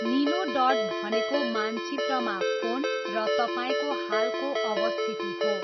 निलो डट भनेको मानचित्रमा फोन र तपाईँको हालको अवस्थिति हो।